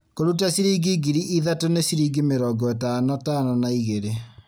Kũruta ciringi ngiri ithatũ nĩ ciringi mĩrongo ĩtano tano na igĩrĩ